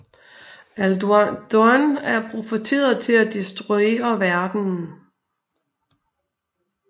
Alduin er profeteret til at destruere verdenen